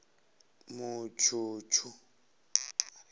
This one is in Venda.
mutshutshu